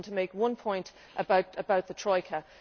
I just want to make one point about the Troika.